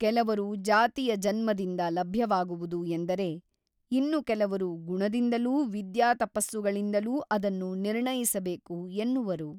ಕೆಲವರು ಜಾತಿಯ ಜನ್ಮದಿಂದ ಲಭ್ಯವಾಗುವುದು ಎಂದರೆ ಇನ್ನು ಕೆಲವರು ಗುಣದಿಂದಲೂ ವಿದ್ಯಾತಪಸ್ಸುಗಳಿಂದಲೂ ಅದನ್ನು ನಿರ್ಣಯಿಸಬೇಕು ಎನ್ನುವರು.